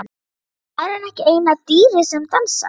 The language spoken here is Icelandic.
Er maðurinn ekki eina dýrið sem dansar?